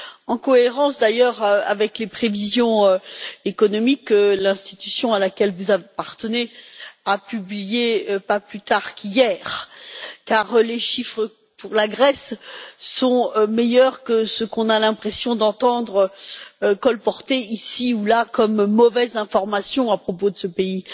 En cohérence, d'ailleurs, avec les prévisions économiques que l'institution à laquelle vous appartenez a publiées pas plus tard qu'hier, car les chiffres pour la Grèce sont meilleurs que ce que l'on a l'impression d'entendre colporter ici ou là comme mauvaise information à propos de ce pays.